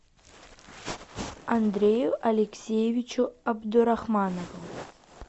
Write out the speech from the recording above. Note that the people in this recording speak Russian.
андрею алексеевичу абдурахманову